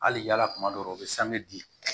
Hali yala kuma dɔw u be sange di